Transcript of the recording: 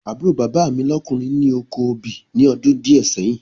Àbúrò bàbá mi lọ́kùnrin ni oko obì ní ọdún díẹ̀ sẹ́yìn